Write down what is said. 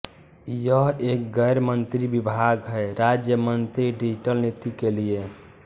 यह एक गैर मंत्री विभाग है राज्य मंत्री डिजिटल नीति के लिए